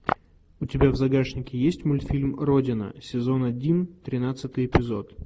у тебя в загашнике есть мультфильм родина сезон один тринадцатый эпизод